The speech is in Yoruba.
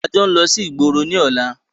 A jọ ń lọ sí ìgboro ní ọ̀la!